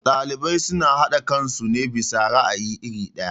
Ɗalibai suna haɗe kansu ne bisa ra'ayi iri ɗaya.